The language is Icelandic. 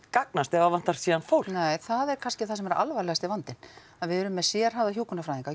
gagnast ef það vantar síðan fólk nei það er kannski alvarlegasti vandinn að við erum með sérhæfða hjúkrunarfræðinga